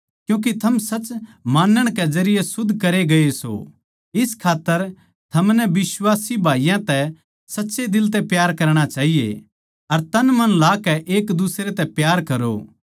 क्यूँके थम सच मानण के जरिये शुध्द करे गये सों इस खात्तर थमनै बिश्वासी भाईयाँ तै सच्चे दिल तै प्यार करणा चाहिए अर तनमन लाकै एकदुसरे तै प्यार करो